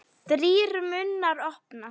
Þrír munnar opnast.